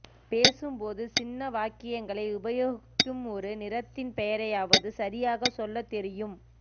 பேசும் போது சின்ன வாக்கியங்களை உபயோகிக்கும் ஒரு நிறத்தின் பெயரையாவது சரியாக சொல்லத் தெரியும்